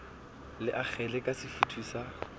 le akgele ka sefutho sa